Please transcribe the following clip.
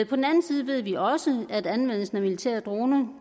på den anden side ved vi også at anvendelsen af militære droner